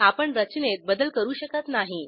आपण रचनेत बदल करू शकत नाही